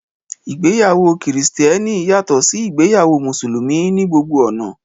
ìgbéyàwó kìrìsìtẹ́nì yàtọ̀ sí ìgbéyàwó mùsùlùmí ní gbogbo ọ̀nà